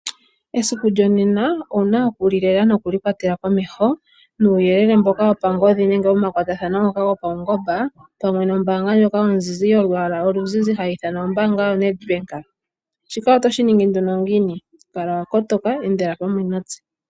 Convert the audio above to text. Esiku lyonena owuna okulilela nokuli kwatela komeho nuuyelele mboka wopangodhi nenge womakwatathano ngoka gopawungomba pamwe nombaanga ndjoka ozizi yolwaala oluzizi hayi ithanwa ombaanga ndjoka yoNedbank, shika oto shiningi nduno ngiini? Kala wakotoka, endela pamwe natse.